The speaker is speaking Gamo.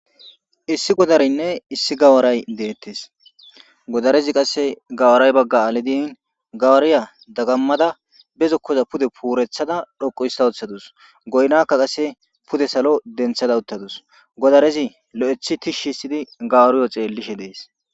issi godarinne issi gawaray deettes godarezi qasse gawaray bagga alidin gawariya dagammada bezokkoza pude puurethada dhoqu hista woththadus goynakka qasse pude salo denthada uttadus godarezi lo'ethi tishshi histidi gawuriyo xeellishe dees